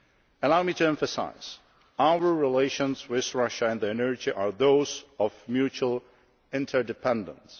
Allow me to emphasise our relations with Russia on energy are those of mutual interdependence.